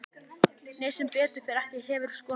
Nei sem betur fer ekki Hefurðu skorað mark?